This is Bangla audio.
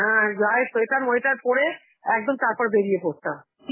হ্যাঁ, গায় sweater ময়টার পড়ে, একদম তারপর বেরিয়ে পরতাম.